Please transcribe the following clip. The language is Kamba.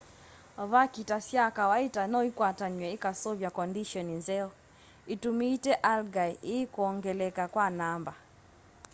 vakita sya kawaita noikwatanw'e ikaseuvya kondisheni nzeo itumite algae ii kwongeleka kwa namba